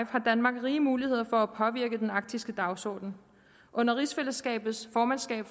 har danmark rige muligheder for at påvirke den arktiske dagsorden under rigsfællesskabets formandskab